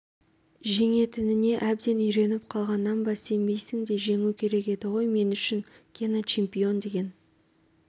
жеңетініне әбден үйреніп қалғаннан ба сенбейсің де жеңу керек еді ғой мен үшін гена чемпион деген